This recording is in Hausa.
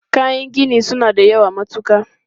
Kayan gini su na da yawa matuka.